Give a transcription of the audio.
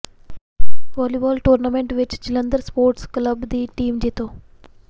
volleyball tournament ਵਿੱਚ Jalandhar sports club ਦੀ team ਜੇਤੂ